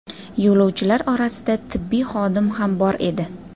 Yo‘lovchilar orasida tibbiy xodim ham bor edi.